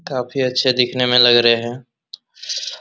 काफी अच्छे दिखने में लग रहे हैं ।